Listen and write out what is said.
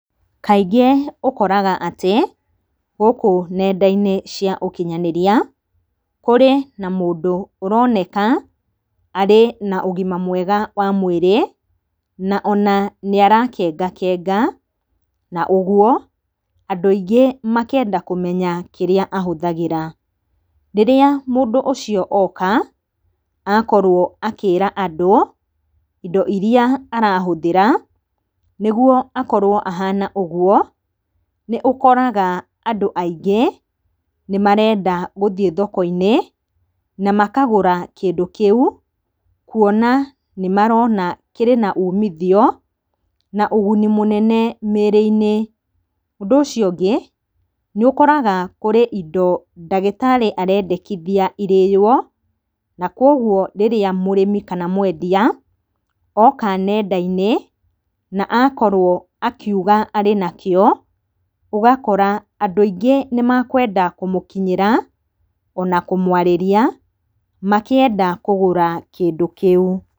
Kaingĩ ũkoraga atĩ, gũkũ nenda-inĩ cia ũkinyanĩria kũrĩ mũndũ ũroneka arĩ na ũgima mwega wa mwĩrĩ na ona nĩ arakengakenga. Na ũguo andũ aingĩ makenda kũmenya kĩrĩa ahũthagĩra. Rĩrĩa mũndũ ũcio oka akorwo akĩra andũ, indo irĩa arahũthĩra nĩguo akorwo ahana ũguo, nĩ ũkoraga andũ aingĩ nĩ marenda gũthiĩ thoko-inĩ, na makagũra kĩndũ kĩũ, kuona kĩrĩ na umithio na ũguni mũnene mĩĩrĩ-inĩ. Ũndũ ũcio ũngĩ nĩ ũkoraga kũrĩ indo ndagĩtarĩ arendekithia irĩo, na koguo rĩrĩa mũrĩmi kana mwendia, oka nenda-inĩ na akorwo akiuga arĩ nakĩo, ũgakora andũ aingĩ nĩ makwenda kũmũkinyĩra ona kũmwarĩria makĩenda kũgũra kĩndũ kĩu.